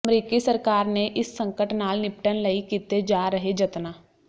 ਅਮਰੀਕੀ ਸਰਕਾਰ ਨੇ ਇਸ ਸੰਕਟ ਨਾਲ ਨਿਪਟਣ ਲਈ ਕੀਤੇ ਜਾ ਰਹੇ ਜਤਨਾਂ